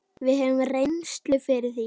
Við höfum reynslu fyrir því.